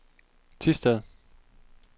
Thisted